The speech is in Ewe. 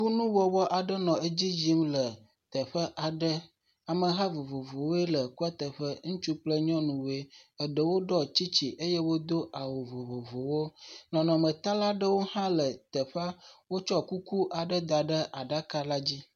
Kunuwɔwɔ aɖe nɔ edzi yim le teƒe aɖe, ameha vovovowoe le kua teƒe, ŋutsu kple nyɔnuwoe, eɖewo ɖɔ tsitsi eye eɖewo do awu vovovowo, nɔnɔmetalawo hã le teƒe, wotsɔ aflaga da ɖe aɖaka la la dzi.